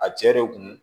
A cɛ de kun